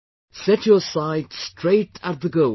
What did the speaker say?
Set your sight straight at the Gold